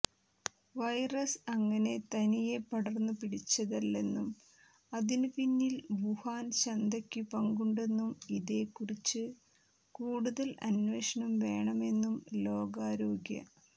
virus അങ്ങനെ തനിയെ പടർന്നു പിടിച്ചതല്ലെന്നും അതിനു പിന്നിൽ വുഹാൻ ചന്തയ്ക്കു പങ്കുണ്ടെന്നും ഇതെക്കുറിച്ചു കൂടുതൽ അന്വേഷണം വേണമെന്നും ലോകാരോഗ്യ